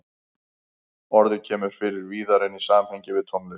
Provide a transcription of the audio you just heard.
Orðið kemur fyrir víðar en í samhengi við tónlist.